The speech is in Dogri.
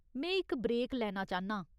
में इक ब्रेक लैना चाह्न्नां ।